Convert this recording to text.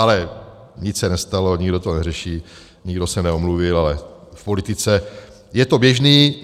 Ale nic se nestalo, nikdo to neřešil, nikdo se neomluvil, ale v politice je to běžné.